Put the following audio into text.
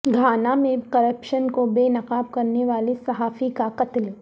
Ghana میں corruption کو بے نقاب کرنے والے صحافی کا قتل